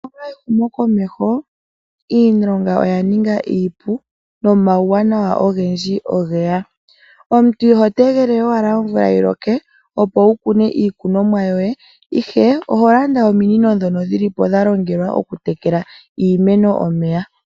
Pethimbo ndino lyehumokomeho iilonga oya ninga iipu nomauwanawa ogendji oge ya . Omuntu iho tegelele we owala omvula yi loke opo wu kune iikunomwa yoye , ashike oho landa ominino ndhono dha longwa okutekela iimeno omeya .